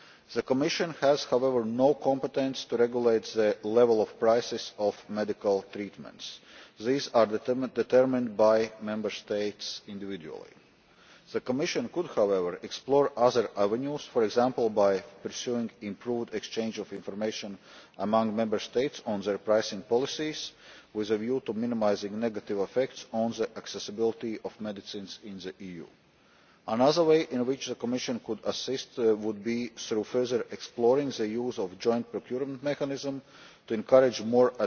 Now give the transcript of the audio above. The Commission has no competence to regulate the level of prices of medical treatments these are determined by Member States individually. The Commission could, however, explore other avenues, for example by pursuing improved exchanges of information among Member States on their pricing policies, with a view to minimising negative effects on the accessibility of medicines in the EU. Another way in which the Commission could assist would be through further exploring the use of the Joint Procurement Mechanism to encourage more